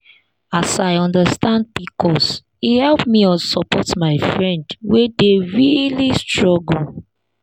as i understand pcos e help me support my friend wey dey really struggle.